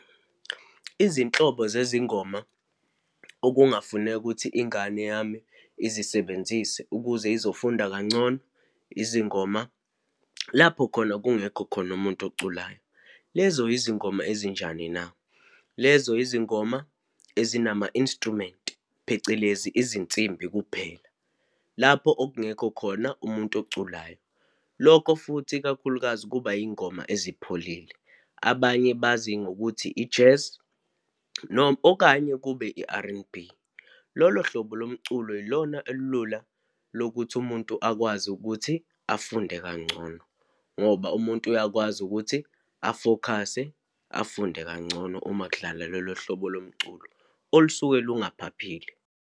Izinhlobo zezingoma okungafuneka ukuthi ingane yami izisebenzi zise ukuze izofunda kangcono, izingoma lapho khona kungekho khona umuntu oculayo. Lezo izingoma ezinjani na? Lezo izingoma ezinama-instrument, phecelezi izinsimbi kuphela, lapho okungekho khona umuntu oculayo. Lokho futhi, ikakhulukazi kuba iy'ngoma ezipholile, abanye bazi ngokuthi i-jazz noma okanye kube i-R_N_B. Lolo hlobo lomculo ilona olula lokuthi umuntu akwazi ukuthi afunde kangcono, ngoba umuntu uyakwazi ukuthi a-focus-e, afunde kangcono uma kudlala lolo hlobo lomculo olusuke lungaphaphile.